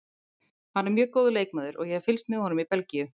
Hann er mjög góður leikmaður og ég hef fylgst með honum í Belgíu.